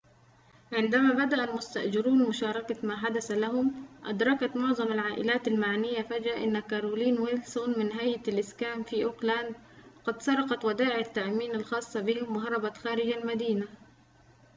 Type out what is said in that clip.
عندما بدأ المستأجرون مشاركة ما حدث لهم أدركت معظم العائلات المعنية فجأة أن كارولين ويلسون من هيئة الإسكان في أوكلاند قد سرقت ودائع التأمين الخاصة بهم وهربت خارج المدينة